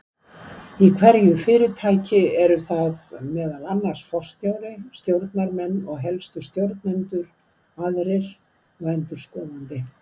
Í hverju fyrirtæki eru það meðal annars forstjóri, stjórnarmenn og helstu stjórnendur aðrir og endurskoðandi.